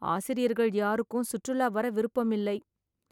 ஆசிரியர்கள் யாருக்கும் சுற்றுலா வர விருப்பம் இல்லை